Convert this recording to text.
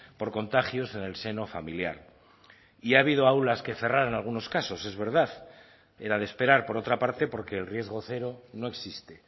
por contagios en el seno familiar y ha habido aulas que cerrar en algunos casos es verdad era de esperar por otra parte porque el riesgo cero no existe